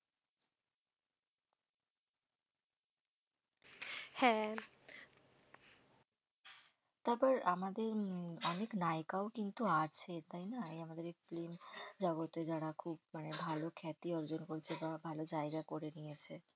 হ্যাঁ, তারপর আমাদের উম অনেক নায়িকাও কিন্তু আছে তাই না আমাদের এই film জগতে যারা খুব মানে ভালো খ্যাতি অর্জন করেছে, বা ভালো জায়গা করে নিয়েছে